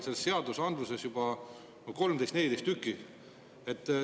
Selles seadusandluses juba on 13–14 erandit.